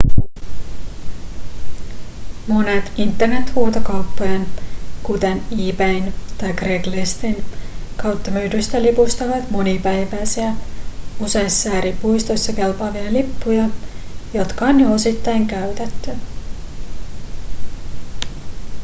monet internethuutokauppojen kuten ebayn tai craigslistin kautta myydyistä lipuista ovat monipäiväisiä useissa eri puistoissa kelpaavia lippuja jotka on jo osittain käytetty